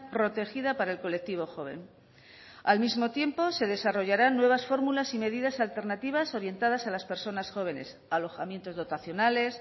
protegida para el colectivo joven al mismo tiempo se desarrollarán nuevas fórmulas y medidas alternativas orientadas a las personas jóvenes alojamientos dotacionales